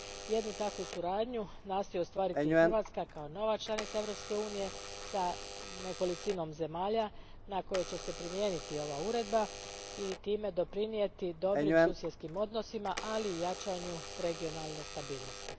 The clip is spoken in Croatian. Jednu takvu suradnju nastoji ostvariti i Hrvatska, kao nova članica Europske unije, s nekolicinom zemalja na koje će se primijeniti ova Uredba i time doprinijeti dobrim susjedskim odnosima, ali i jačanju regionalne stabilnosti.